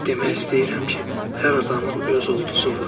Demək istəyirəm ki, hər adamın öz ulduzu var.